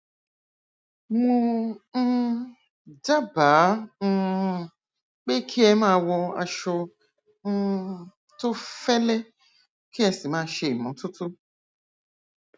mo um dábàá um pé kí ẹ máa wọ aṣọ um tó fẹlẹ kí ẹ sì máa ṣe ìmọtótó